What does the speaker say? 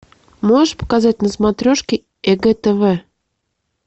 можешь показать на смотрешке егэ тв